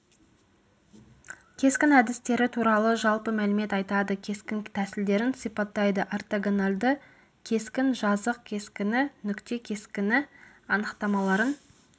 кескін әдістері туралы жалпы мәлімет айтады кескін тәсілдерін сипаттайды ортогоналді кескін жазық кескіні нүкте кескіні анықтамаларын